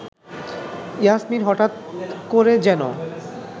ইয়াসমিন হঠাৎ করে যেন